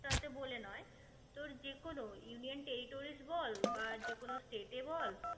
টাতে বলে নয় তোর যেকোনো union territoris বা যে কোনো state এ বল